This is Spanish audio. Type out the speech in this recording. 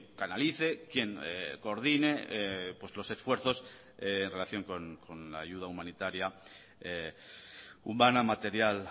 canalice quien coordine los esfuerzos en relación con la ayuda humanitaria humana material